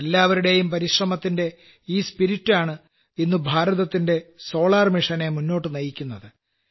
എല്ലാവരുടെയും പരിശ്രമത്തിന്റെ ഈ ചേതനയാണ് ഇന്ന് ഭാരതത്തിന്റെ സൌരോജ്ജ ദൌത്യത്തെ മുന്നോട്ട് നയിക്കുന്നത്